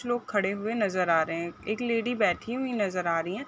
कुछ लोग खड़े हुए नज़र आ रहे है एक लेडी बैठी हुई नज़र आ रही है।